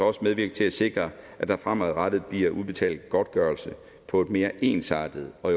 også medvirke til at sikre at der fremadrettet bliver udbetalt godtgørelse på et mere ensartet og